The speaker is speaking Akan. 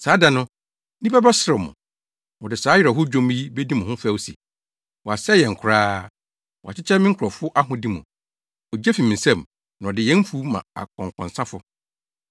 Saa da no, nnipa bɛserew mo. Wɔde saa awerɛhow dwom yi bedi mo ho fɛw se: ‘wɔasɛe yɛn koraa; wɔakyekyɛ me nkurɔfo ahode mu. Ogye fi me nsam! Na ɔde yɛn mfuw ma akɔnkɔnsafo.’ ”